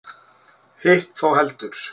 Hitt þó heldur.